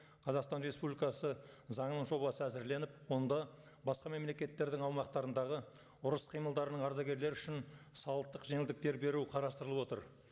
қазақстан республикасы заңының жобасы әзірленіп онда басқа мемлекеттердің аумақтарындағы ұрыс қимылдарының ардагерлері үшін салықтық жеңілдіктер беру қарастырылып отыр